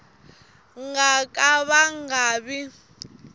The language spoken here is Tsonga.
nga ka va nga vi